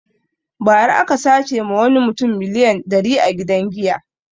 Ba ra aka sace ma wani mutum miliyan dari a gidan giya